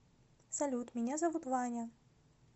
салют меня зовут ваня